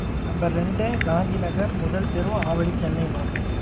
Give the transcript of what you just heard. number ரெண்டு, காந்தி நகர், முதல் தெரு, ஆவடி, சென்னை mam